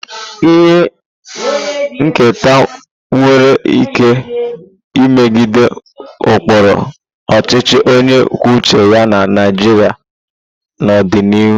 Ihe nketa nwere ike imegide ụkpụrụ ọchịchị onye kwuo uche ya na Naịjirịa n'ọdịnihu.